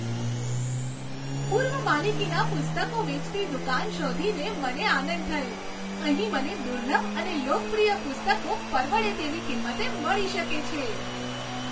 પૂર્વ માલિકીના પુસ્તકો વેચતી દુકાન શોધીને મને આનંદ થયો. અહીં મને દુર્લભ અને લોકપ્રિય પુસ્તકો પરવડે તેવી કિંમતે મળી શકે છે.